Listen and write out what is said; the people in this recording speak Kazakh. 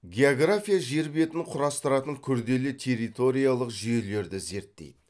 география жер бетін құрастыратын күрделі территориялық жүйелерді зерттейді